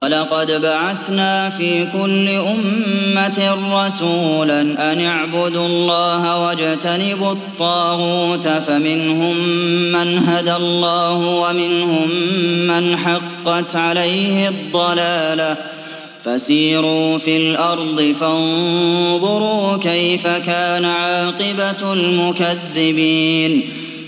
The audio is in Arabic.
وَلَقَدْ بَعَثْنَا فِي كُلِّ أُمَّةٍ رَّسُولًا أَنِ اعْبُدُوا اللَّهَ وَاجْتَنِبُوا الطَّاغُوتَ ۖ فَمِنْهُم مَّنْ هَدَى اللَّهُ وَمِنْهُم مَّنْ حَقَّتْ عَلَيْهِ الضَّلَالَةُ ۚ فَسِيرُوا فِي الْأَرْضِ فَانظُرُوا كَيْفَ كَانَ عَاقِبَةُ الْمُكَذِّبِينَ